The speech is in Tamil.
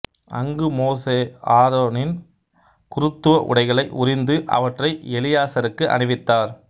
அங்கு மோசே ஆரோனின் குருத்துவ உடைகளை உரிந்து அவற்றை எலியாசருக்கு அணிவித்தார்